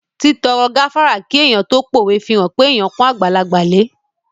Títọrọ gáfárà kí èèyàn tó pówe fihàn pé èèyàn pọ́n àgbàlagbà lẹ